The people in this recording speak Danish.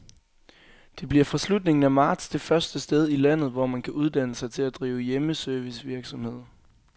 Det bliver fra slutningen af marts det første sted i landet, hvor man kan uddanne sig til at drive hjemmeservicevirksomhed.